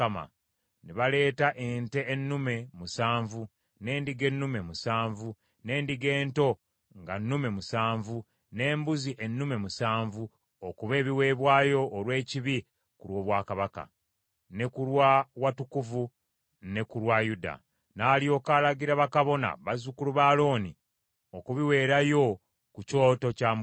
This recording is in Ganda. Ne baleeta ente ennume musanvu, n’endiga ennume musanvu, n’endiga ento nga nnume musanvu, n’embuzi ennume musanvu okuba ebiweebwayo olw’ekibi ku lw’obwakabaka, ne ku lwa watukuvu, ne ku lwa Yuda. N’alyoka alagira bakabona, bazzukulu ba Alooni okubiweerayo ku kyoto kya Mukama .